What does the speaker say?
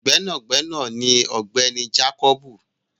Gbẹ́nàgbẹ́nà ni ọ̀gbẹ́ni jákọ́bù